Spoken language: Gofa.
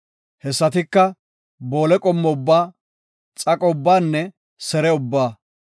Hessatika, boole qommo ubbaa, xaqo ubbaanne sere ubbaa.